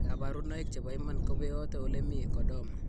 Kabarunoik chebo iman kobeote ole mi Chordoma.